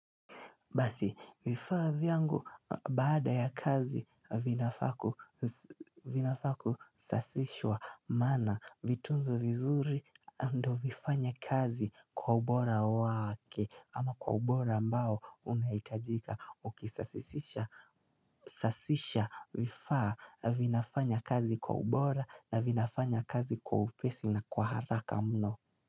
Basi vifaa vyangu baada ya kazi, vinafaa ku vinafaa kusafishwa, maana vitunzwe vizuri ndio vifanye kazi kwa ubora wake, ama kwa ubora ambao unaitajika ukisasisisha, sasisha vifaa vinafanya kazi kwa ubora, na vinafanya kazi kwa upesi na kwa haraka mno.